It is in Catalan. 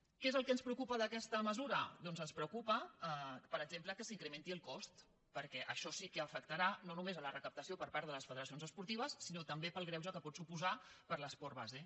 què és el que ens preocupa d’aquesta mesura doncs ens preocupa per exemple que se n’incrementi el cost perquè això sí que afectarà no només la recapta·ció per part de les federacions esportives sinó també pel greuge que pot suposar per a l’esport base